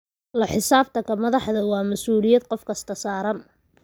La xisaabtanka madaxda waa masuuliyad qof kasta saaran.